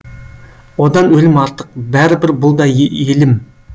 одан өлім артық бәрібір бұл да елім